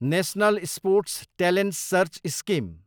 national sports talent search scheme